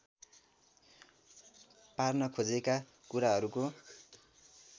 पार्न खोजेका कुराहरूको